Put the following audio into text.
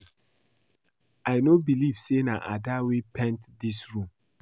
I know believe say na Ada wey paint dis room